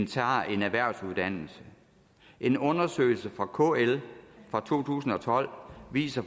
tager en erhvervsuddannelse en undersøgelse fra kl fra to tusind og tolv viser